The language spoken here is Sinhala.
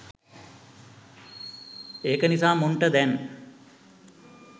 ඒක නිසා මුන්ට දැන්